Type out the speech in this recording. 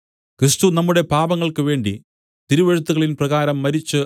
ക്രിസ്തു നമ്മുടെ പാപങ്ങൾക്കുവേണ്ടി തിരുവെഴുത്തുകളിൻപ്രകാരം മരിച്ച്